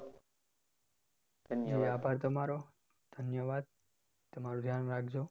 આભાર તમારો ધન્યવાદ તમારું ધ્યાન રાખજો